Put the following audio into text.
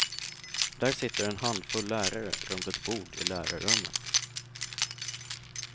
Där sitter en handfull lärare runt ett bord i lärarrummet.